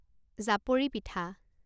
জাপৰি পিঠা